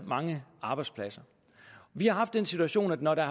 mange arbejdspladser vi har haft den situation at når der